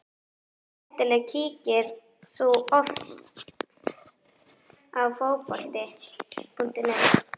Skemmtileg Kíkir þú oft á Fótbolti.net?